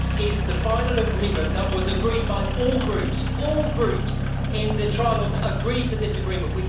This is the final agreement that was agreed by all Groups, all Groups in the trilogue agreed to this agreement.